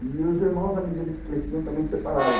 E os irmãos, à medida que cresciam, também separavam.